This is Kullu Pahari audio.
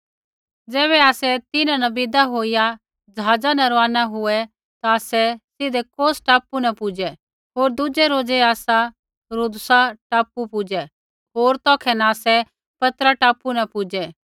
ज़ैबै आसै तिन्हां न विदा होईया ज़हाज़ा न रवाना हुए ता आसै सीधै कौस टापू न पुजै होर दुज़ै रोज़ै आसा रूदुसा टापू पुजै होर तौखै न आसै पतरा टापू न पुजै